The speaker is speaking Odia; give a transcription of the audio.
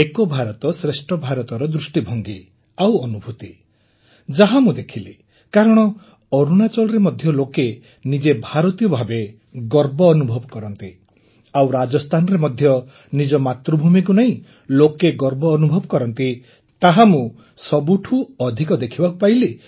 ଏକ ଭାରତଶ୍ରେଷ୍ଠ ଭାରତର ଦୃଷ୍ଟିଭଙ୍ଗୀ ଆଉ ଅନୁଭୁତି ଯାହା ମୁଁ ଦେଖିଲି କାରଣ ଅରୁଣାଚଳରେ ମଧ୍ୟ ଲୋକେ ନିଜେ ଭାରତୀୟ ଭାବେ ଗର୍ବ ଅନୁଭବ କରନ୍ତି ଆଉ ରାଜସ୍ଥାନରେ ମଧ୍ୟ ନିଜ ମାତୃଭୂମିକୁ ନେଇ ଲୋକେ ଗର୍ବ ଅନୁଭବ କରନ୍ତି ତାହା ମୁଁ ସବୁଠୁ ଅଧିକ ଦେଖିବାକୁ ପାଇଲି